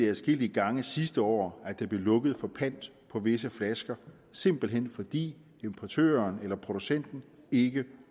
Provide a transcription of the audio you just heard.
adskillige gange sidste år blev lukket for pant på visse flasker simpelt hen fordi importøren eller producenten ikke